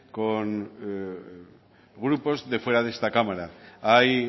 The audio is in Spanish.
con grupos de fuera de esta cámara hay